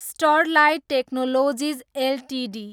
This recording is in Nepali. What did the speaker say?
Sterlite Technologies Ltd